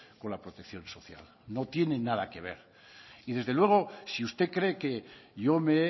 con la protección social no tiene nada que ver y desde luego si usted cree que yo me